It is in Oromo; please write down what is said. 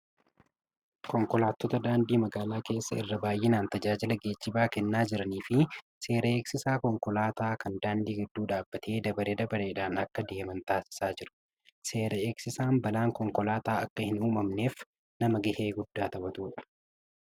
Konkolaattota daandii magaalaa keessaa irra baay'inaan tajaajila geejjibaa kennaa jiranii fi seera eegsisaa konkolaataa kan daandii gidduu dhaabbatee dabaree dabareedhaan akka adeeman taasisaa jiru. Seera eegsisaan balaan konkolaataa akka hin uumamneef nama gahee guddaa taphatudha.